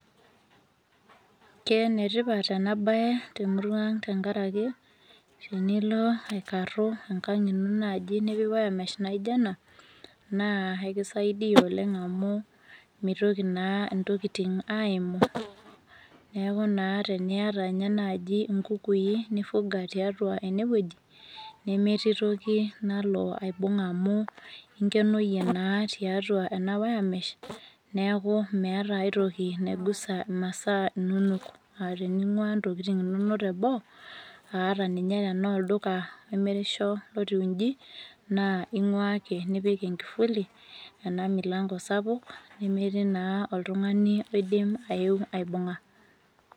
Keenetipat enabaye temuruang' tengarake tenilo aikarru enkang' ino naji nipik  wiremesh naijo ena naa aikisaidia oleng' amu meitoki naa intokitin aaimu. Neaku naa teniata ninye naji nkukui nifuga tiatua enewueji nemetii toki nalo aibung' amu inkenoyie naa tiatua ena  wiremesh neaku meata ai toki naigusa masaa inonok. Naa tening'uaa ntokitin inonok teboo aahata ninye tenoolduka imirisho lotiu inji naa ing'uaa ake nipik enkifuli enamilango sapuk nemetii naa oltung'ani oidim aeu aibung'a.